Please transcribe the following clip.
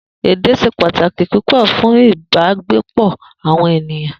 Èdè s̩e pàtàkì púpò̩ fún ìbágbépò̩ àwo̩n ènìyàn